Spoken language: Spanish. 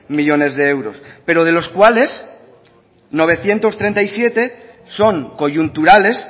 millónes de euros pero de los cuales novecientos treinta y siete son coyunturales